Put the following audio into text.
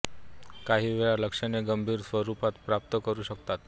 काही वेळा लक्षणे गंभीर स्वरूप प्राप्त करू शकतात